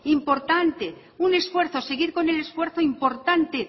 importante un esfuerzo seguir con el esfuerzo importante